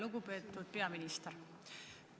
Lugupeetud peaminister!